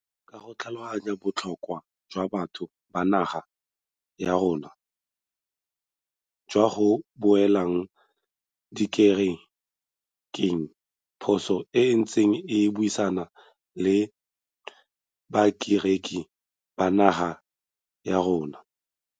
Ka go tlhaloganya botlho kwa jwa batho ba naga ya rona jwa go boela dikere keng, puso e ntse e buisana le bakereki ba naga ya rona.